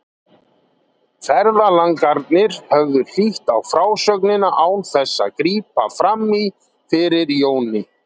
Ferðalangarnir höfðu hlýtt á frásögnina án þess að grípa fram í fyrir Jóni.